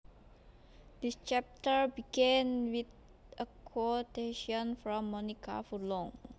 This chapter began with a quotation from Monica Furlong